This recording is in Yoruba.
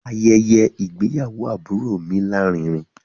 Ayẹyẹ ìgbéyàwó àbúrò mi láàrínrin